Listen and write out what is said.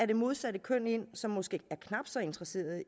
det modsatte køn ind som måske er knap så interesseret i